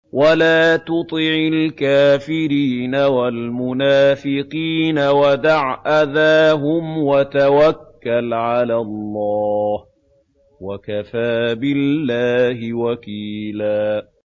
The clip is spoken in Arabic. وَلَا تُطِعِ الْكَافِرِينَ وَالْمُنَافِقِينَ وَدَعْ أَذَاهُمْ وَتَوَكَّلْ عَلَى اللَّهِ ۚ وَكَفَىٰ بِاللَّهِ وَكِيلًا